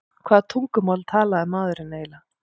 Hvaða tungumál talaði maðurinn eiginlega?